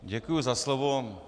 Děkuji za slovo.